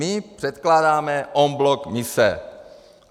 My předkládáme en bloc mise.